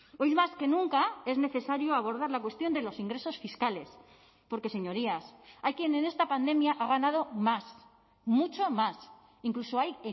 hoy más que nunca es necesario abordar la cuestión de los ingresos fiscales porque señorías hay quien en esta pandemia ha ganado más mucho más incluso hay